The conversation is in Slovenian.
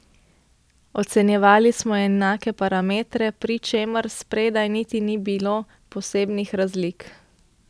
Ocenjevali smo enake parametre, pri čemer spredaj niti ni bilo posebnih razlik.